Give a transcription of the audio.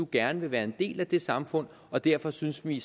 gerne vil være en del af det samfund og derfor synes vi